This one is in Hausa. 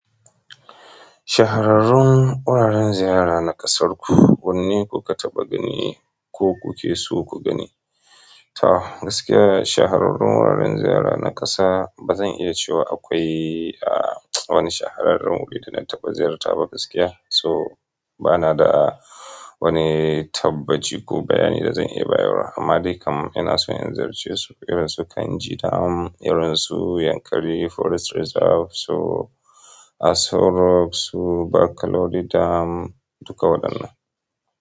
Shahararrun wuraren ziyara na ƙasarku, wanne ku ka taɓa gani ko kuke so ku gani? To gaskiya shahararrun wuraren ziyara na ƙasa bazan iya cewa akwai wani shahararren wuri da na taɓa ziyarta ba gaskiya. So bana da wani tabbaci ko bayani da zan iya bayarwa amma dai kam ina so in ziyarce irin su Kainji dam, irin su Yankari Forest Reserve, so Aso Rock, su Bakolori dam duka waɗannan.